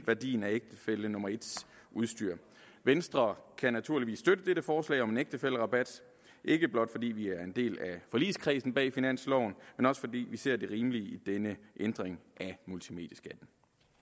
værdien af ægtefælle nummer en udstyr venstre kan naturligvis støtte dette forslag om en ægtefællerabat ikke blot fordi vi er en del af forligskredsen bag finansloven men også fordi vi ser det rimelige i denne ændring af multimedieskatten